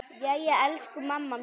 Jæja, elsku mamma mín.